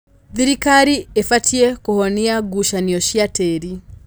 Thirikari ĩbatiĩ kũhonia ngucanio cia tĩri.